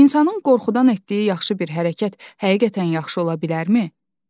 İnsanın qorxudan etdiyi yaxşı bir hərəkət həqiqətən yaxşı ola bilərmi?